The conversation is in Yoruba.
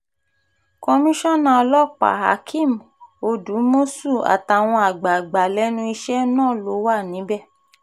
komisanna ọlọ́pàáhakeem odúmọ̀ṣù àtàwọn àgbàgbà lẹ́nu iṣẹ́ náà ló wà níbẹ̀